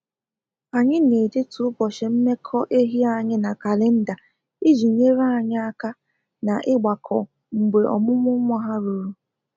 Anyị na edetu ụbọchị mmekọ ehi anyị na kalenda iji nyere anyị aka na-igbakọ mgbe ọmụmụ nwa ha ruru